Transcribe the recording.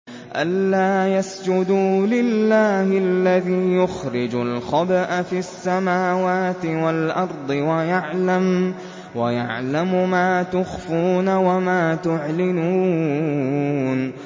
أَلَّا يَسْجُدُوا لِلَّهِ الَّذِي يُخْرِجُ الْخَبْءَ فِي السَّمَاوَاتِ وَالْأَرْضِ وَيَعْلَمُ مَا تُخْفُونَ وَمَا تُعْلِنُونَ